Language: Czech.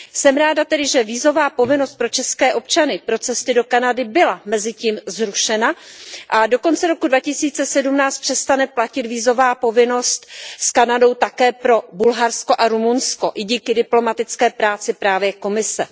Jsem tedy ráda, že vízová povinnost pro české občany pro cesty do Kanady byla mezitím zrušena a do konce roku 2017 přestane platit vízová povinnost s Kanadou také pro Bulharsko a Rumunsko, i díky diplomatické práci právě Komise.